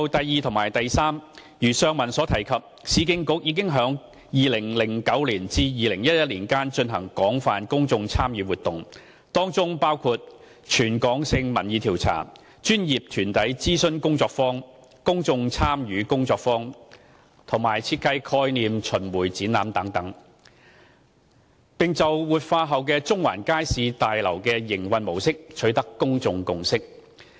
二及三如上文提及，市建局已於2009年至2011年間進行廣泛公眾參與活動，當中包括全港性民意調查、專業團體諮詢工作坊、公眾參與工作坊及設計概念巡迴展覧等，並就活化後的中環街市大樓的營運模式，取得公眾共識。